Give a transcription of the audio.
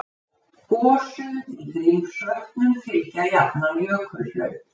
Gosum í Grímsvötnum fylgja jafnan jökulhlaup